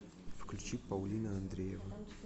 включи паулина андреева